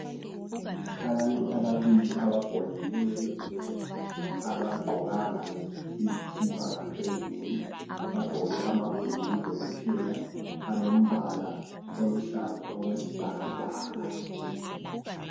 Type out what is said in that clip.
Abantu ababili abagoneneyo. Abagqokanga izikipa ngaphezulu. Bagqoke amabhulugwe kuphela alombala oluhlaza okwesibhakabhaka.